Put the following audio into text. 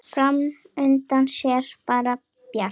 Fram undan sé bara bjart.